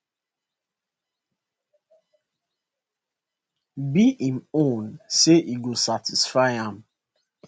be im own say e go satisfy am